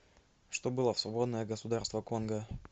что было в свободное государство конго